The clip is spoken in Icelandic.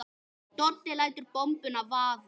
Doddi lætur bombuna vaða.